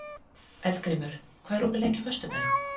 Eldgrímur, hvað er opið lengi á föstudaginn?